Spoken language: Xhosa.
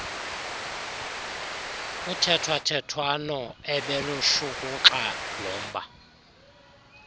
kuthethwathethwano obelushukuxa lomba